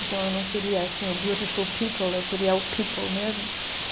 Então, eu não queria assim o, eu queria o mesmo.